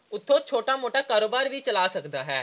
ਉਤੋਂ ਛੋਟਾ-ਮੋਟਾ ਕਾਰੋਬਾਰ ਵੀ ਚਲਾ ਸਕਦਾ ਹੈ।